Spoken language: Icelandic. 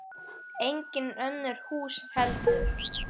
Engin önnur hús heldur.